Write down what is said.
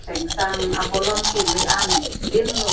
thengsang abolon keme anpin lo.